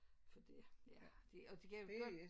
For det ja de og de kan jo godt